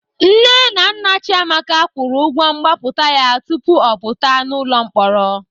Nne na nna Chiamaka kwụrụ ụgwọ mgbapụta ya tupu ọ pụta n'ụlọ mkpọrọ.